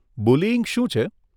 Bullying શું છે?